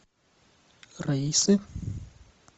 раисы